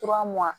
Fura mugan